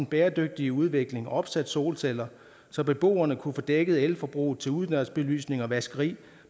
bæredygtig udvikling og opsat solceller så beboerne kunne få dækket elforbruget til udendørs belysning og vaskeri